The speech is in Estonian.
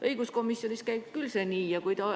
Õiguskomisjonis käib see küll nii.